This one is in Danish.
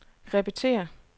repetér